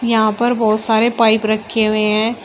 यहां पर बहुत सारे पाइप रखें हुये है।